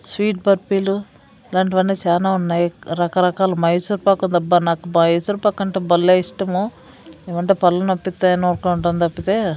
sweet బర్ఫీలు అలాంటివన్నీ సానా ఉన్నాయి రకరకాల మైసూర్పకుందబ్బ నాకు మైసూర్పాక్ అంటే బల్లె ఇష్టము ఏమంటే పళ్ళునొప్పితే తప్పితే--